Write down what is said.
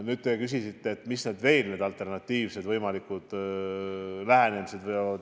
Nüüd, te küsisite, mis võivad olla muud, alternatiivsed lähenemised.